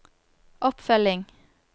oppfølging